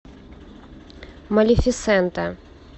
малефисента